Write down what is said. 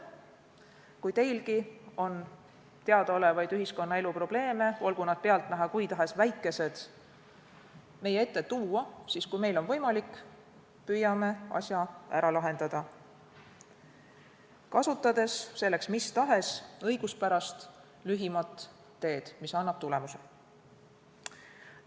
Kui teilgi on ühiskonnaelu probleeme, olgu nad pealtnäha kui tahes väikesed, meie ette tuua, siis, kui meil on võimalik, püüame asja ära lahendada, kasutades selleks mis tahes õiguspärast lühimat ja tulemuseni viivat teed.